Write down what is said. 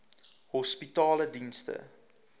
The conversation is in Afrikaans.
hospitaledienste